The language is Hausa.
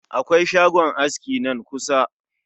Akwai shagon aski nan kusa